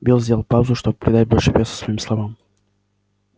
билл сделал паузу чтобы придать больше веса своим словам